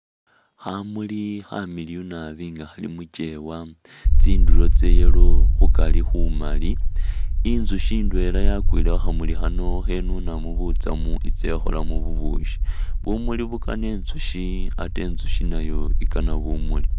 Khamuli khamiliyu nabi nga khali mukyewa tsinduro tsa yellow khukari khumali intsukhi indwela yakwile khukhamuli khano khenunamo butsamu itse ikholemo bubushi bumuli bukana intsukhi ate intsikhi nayo ikana bumuli.